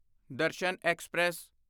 Darshan express